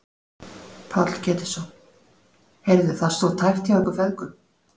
Páll Ketilsson: Heyrðu það stóð tæpt hjá ykkur feðgum?